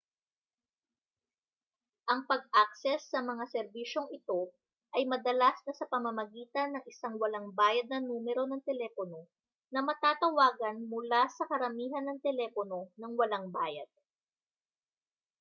ang pag-akses sa mga serbisyong ito ay madalas na sa pamamagitan ng isang walang bayad na numero ng telepono na matatawagan mula sa karamihan ng telepono nang walang bayad